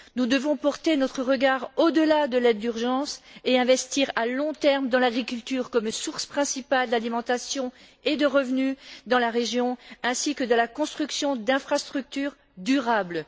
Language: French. Nous devons porter notre regard au delà de l'aide d'urgence et investir à long terme dans l'agriculture, qui est la source principale d'alimentation et de revenu dans la région, ainsi que dans la construction d'infrastructures durables.